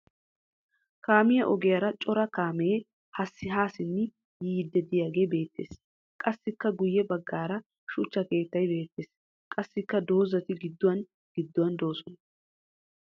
Kaamiya ogiyara cora kaamee haa simmi yiiddi diyagee beettes. Qassikka guyye baggaara shuchcha keettay beettes. Qassikka dozzati gidduwan gidduwan doosona.